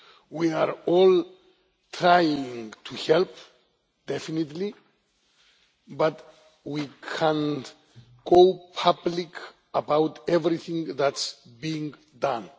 We are all trying to help, definitely, but we cannot go public about everything that is being done.